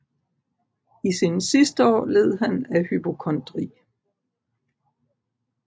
I sine sidste år led han af hypokondri